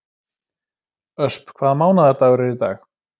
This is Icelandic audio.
Ösp, hvaða mánaðardagur er í dag?